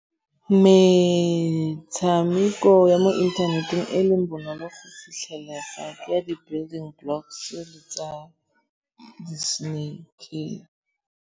Metshameko ya mo inthaneteng e leng bonolo go fitlhelega ke ya di-building blocks le tsa di-snake.